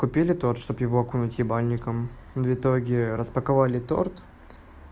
купили торт чтобы его окунуть ебальником в итоге распаковали торт